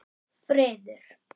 Friður